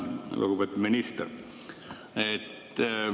Lugupeetud minister!